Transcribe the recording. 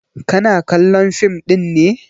Kana kallon fim ɗin ne?